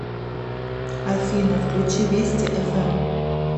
афина включи вести эф эм